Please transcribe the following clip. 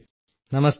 നമസ്തേ sir